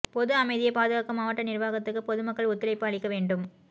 பொது அமைதியை பாதுகாக்க மாவட்ட நிர்வாகத்துக்கு பொதுமக்கள் ஒத்துழைப்பு அளிக்க வேண்டும்